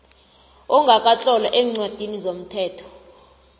ongakatlolwa eencwadini zomthetho